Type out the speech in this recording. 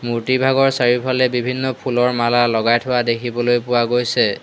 মূৰ্তিভাগৰ চাৰিওফালে বিভিন্ন ফুলৰ মালা লগাই থোৱা দেখিবলৈ পোৱা গৈছে।